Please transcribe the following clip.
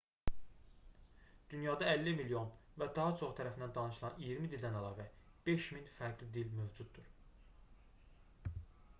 dünyada 50 milyon və daha çoxu tərəfindən danışılan iyirmi dildən əlavə 5000 fərqli dil mövcuddur